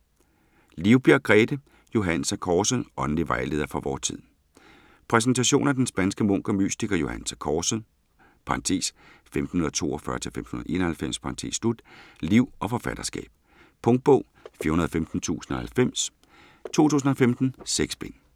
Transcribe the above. Livbjerg, Grethe: Johannes af Korset: åndelig vejleder for vor tid Præsentation af den spanske munk og mystiker Johannes af Korsets (1542-1591) liv og forfatterskab. Punktbog 415090 2015. 6 bind.